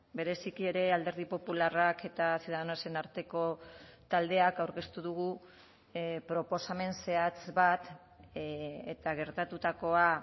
bereziki ere alderdi popularrak eta ciudadanosen arteko taldeak aurkeztu dugu proposamen zehatz bat eta gertatutakoa